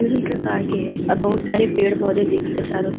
विभिन्न प्रकार के हैं और बहोत सारे पेड़-पौधे दिख रहे हैं चारो तर --